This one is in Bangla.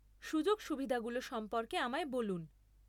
সুযোগ সুবিধাগুলো সম্পর্কে আমায় বলুন।